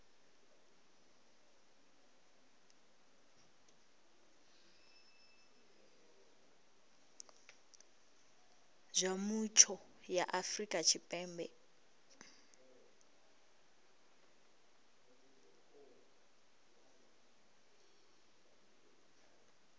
zwa mutsho ya afrika tshipembe